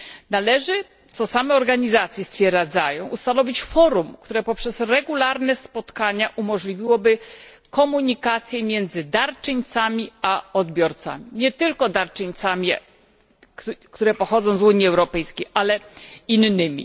Należy, co stwierdzają same organizacje, ustanowić forum, które przez regularne spotkania umożliwiłoby komunikację między darczyńcami a odbiorcami, nie tylko darczyńcami, którzy pochodzą z Unii Europejskiej, ale innymi.